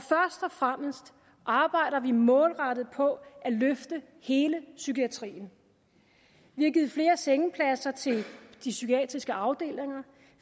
fremmest arbejder vi målrettet på at løfte hele psykiatrien vi har givet flere sengepladser til de psykiatriske afdelinger